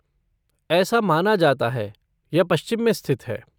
ऐसा माना जाता है, यह पश्चिम में स्थित है।